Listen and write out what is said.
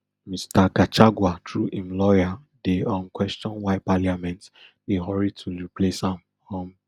mr gachagua through im lawyer dey um question why parliament dey hurry to leplace am um